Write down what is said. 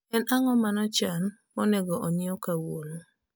en ango manie e chan monego onyieu kawuono